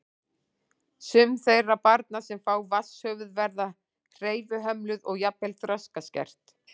Sum þeirra barna sem fá vatnshöfuð verða hreyfihömluð og jafnvel þroskaskert.